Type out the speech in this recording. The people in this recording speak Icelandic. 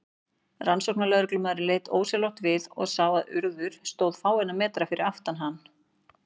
Rannsóknarlögreglumaðurinn leit ósjálfrátt við og sá að Urður stóð fáeina metra fyrir aftan hann.